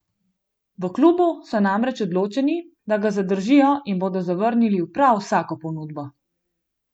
V klubu so namreč odločeni, da ga zadržijo in bodo zavrnili prav vsako ponudbo!